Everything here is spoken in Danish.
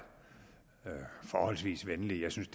forholdsvis venlig jeg synes